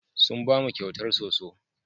Sun ba mu kyautar soso.